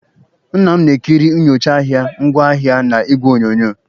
Nna m na-ekiri nyocha ahịa ngwaahịa na igwe onyonyo